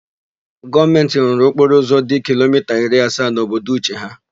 Gọọmentị rụrụ okporoụzọ dị kilomita iri asaa n'obodo Uche ha.